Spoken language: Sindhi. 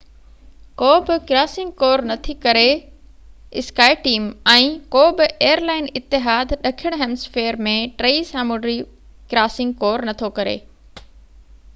ڪو بہ ايئر لائن اتحاد ڏکڻ هيمسفيئر ۾ ٽئي سامونڊي ڪراسنگ ڪور نٿو ڪري ۽ skyteam ڪو بہ ڪراسنگ ڪور نٿي ڪري